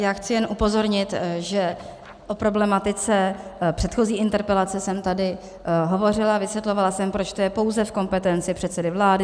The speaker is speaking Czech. Já chci jen upozornit, že o problematice předchozí interpelace jsem tady hovořila, vysvětlovala jsem, proč to je pouze v kompetenci předsedy vlády.